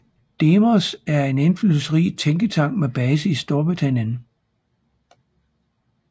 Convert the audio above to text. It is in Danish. Demos er en indflydelsesrig tænketank med base i Storbritannien